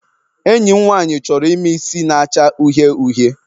Enyi m nwaanyị chọrọ ime isi na-acha uhie uhie.